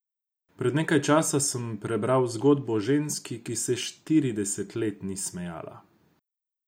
Pred nekaj časa sem prebrala zgodbo o ženski, ki se štirideset let ni smejala.